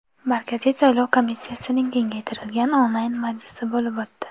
Markaziy saylov komissiyasining kengaytirilgan onlayn majlisi bo‘lib o‘tdi.